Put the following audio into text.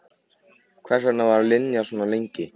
Hvers vegna var Linja svona lengi?